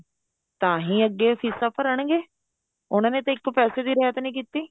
ਤਾਂਹੀ ਅੱਗੇ ਫੀਸਾਂ ਭਰਣਗੇ ਉਹਨਾ ਨੇ ਤਾਂ ਇੱਕ ਪੈਸੇ ਦੀ ਰਹਿਤ ਨਹੀਂ ਕੀਤੀ